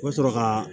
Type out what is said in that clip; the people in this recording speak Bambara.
U bɛ sɔrɔ ka